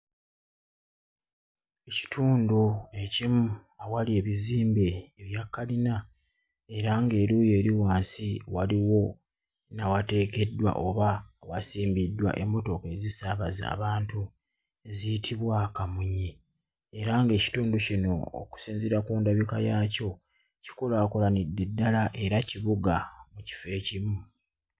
Ekitundu ekimu awali ebizimbe ebya kalina era ng'eruuyi eri wansi waliwo n'awateekeddwa oba awasimbiddwa emmotoka ezisaabaza abantu eziyitibwa kamunye, era ng'ekitundu kino okusinziira ku ndabika yaakyo, kikulaakulanidde ddala era kibuga mu kifo ekimu.